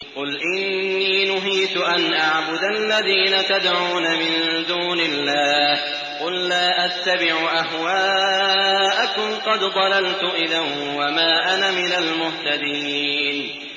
قُلْ إِنِّي نُهِيتُ أَنْ أَعْبُدَ الَّذِينَ تَدْعُونَ مِن دُونِ اللَّهِ ۚ قُل لَّا أَتَّبِعُ أَهْوَاءَكُمْ ۙ قَدْ ضَلَلْتُ إِذًا وَمَا أَنَا مِنَ الْمُهْتَدِينَ